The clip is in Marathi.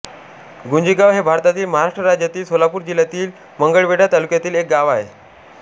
गुंजेगाव हे भारतातील महाराष्ट्र राज्यातील सोलापूर जिल्ह्यातील मंगळवेढा तालुक्यातील एक गाव आहे